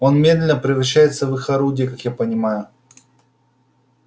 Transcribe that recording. он медленно превращается в их орудие как я понимаю